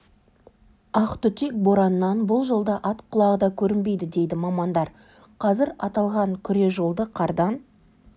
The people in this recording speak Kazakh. ақтүтек бораннан бұл жолда ат құлағы да көрінбейді дейді мамандар қазір аталған күре жолды қардан